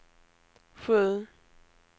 sju